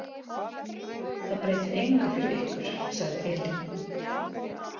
Það breytir engu fyrir ykkur, sagði Elín.